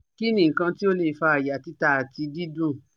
Kini nkan ti o le fa aya tita ati didun